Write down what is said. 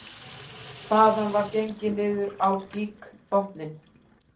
Þaðan var gengið niður á gígbotninn